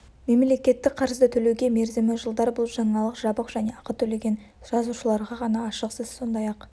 мемлекеттік қарызды төлеу мерзімі жылдар бұл жаңалық жабық және ақы төлеген жазылушыларға ғана ашық сіз сондай-ақ